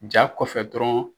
Ja kɔfɛ dɔrɔn